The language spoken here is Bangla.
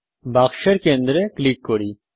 বাক্সের কেন্দ্রে ক্লিক করি